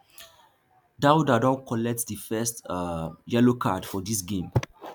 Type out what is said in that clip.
daouda don collect di first um yellow card for dis game